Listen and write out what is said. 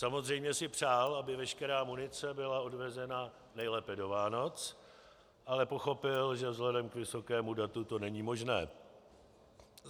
Samozřejmě si přál, aby veškerá munice byla odvezena nejlépe do Vánoc, ale pochopil, že vzhledem k vysokému datu to není možné.